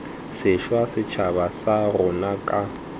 sešwa setšhaba sa rona ka